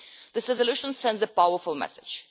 This resolution sends a powerful message.